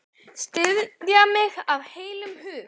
Styðja mig af heilum hug?